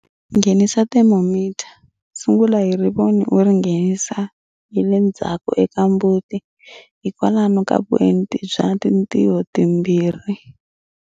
Nghenisa thermometer, sungula hi rivoni u ri nghenisa hi le ndzhawu eka mbuti hi kwalamu ka vuenti bya tintiho timbirhi.